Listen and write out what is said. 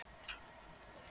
Án þess að líta á hann.